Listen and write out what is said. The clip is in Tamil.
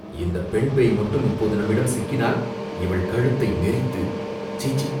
இந்தப் பெண் பேய் மட்டும் இப்போது நம்மிடம் சிக்கினால் இவள் கழுத்தை நெறித்து, சீச்சீ